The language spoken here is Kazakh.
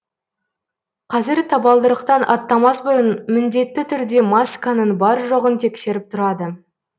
қазір табалдырықтан аттамас бұрын міндетті түрде масканың бар жоғын тексеріп тұрады